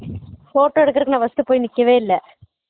photo எடுக்குறதுக்கு நான் first போய் நிக்கவே இல்ல